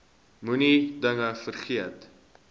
moenie dinge vergeet